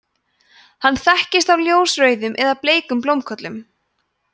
hann þekkist af ljósrauðum eða bleikum blómkollum